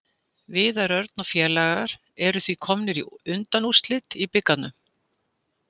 Viðar Örn og félagar eru því komnir í undanúrslit í bikarnum.